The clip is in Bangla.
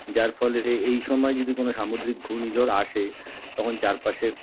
যার ফলে এইসময় যদি কোন সামুদ্রিক ঘূর্ণিঝড় আসে তখন চারপাশের